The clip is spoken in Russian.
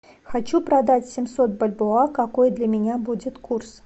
хочу продать семьсот бальбоа какой для меня будет курс